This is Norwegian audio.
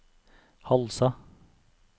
Halsa